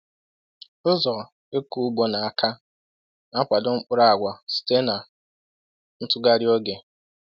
“Ụzọ ịkụ ugbo n’aka na-akwado mkpụrụ agwa site na ntughari oge.”